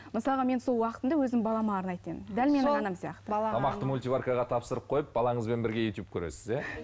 мысалға мен сол уақытымды өзім балама арнайтын едім тамақты мультиваркаға тапсырып қойып балаңызбен бірге ютуб көресіз иә